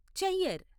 చెయ్యర్